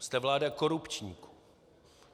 Jste vláda korupčníků.